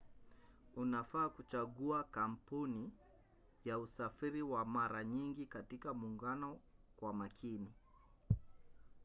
unafaa kuchagua kampuni ya usafiri wa mara nyingi katika muungano kwa makini